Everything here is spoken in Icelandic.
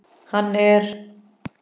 Hann er.